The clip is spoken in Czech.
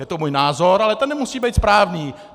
Je to můj názor, ale ten nemusí být správný.